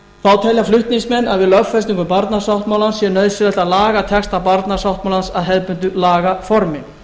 þá telja flutningsmenn að við lögfestingu barnasáttmálans sé nauðsynlegt að laga texta barnasáttmálans að hefðbundnu lagaformi